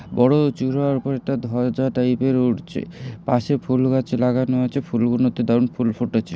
বড়ো চুড়ার ওপরে একটা ধ্বজা টাইপ এর উড়ছে পাশে ফুল গাছ লাগানো আছে ফুলগুলোতে দারুন ফুল ফুটেছে।